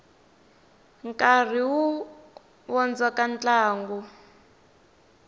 nkarhi wu vondzoka ntlangu